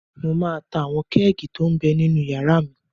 Mo máa ta àwọn kẹ́ẹ̀gì tó m bẹ ninú yàrá mi